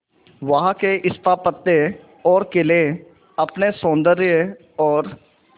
वहां के स्थापत्य और किले अपने सौंदर्य और